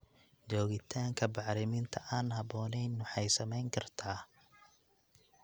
Joogitaanka bacriminta aan habboonayn waxay saameyn kartaa.